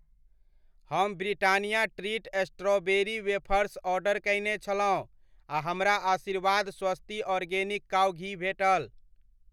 हम Britannia treat strawberry wafers order कयने छलहुँ आ हमरा आशीर्वाद स्वस्ति आर्गेनिक काउ घी भेटल।